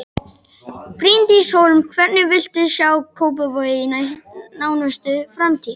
Bryndís Hólm: Hvernig viltu sjá Kópavog í nánustu framtíð?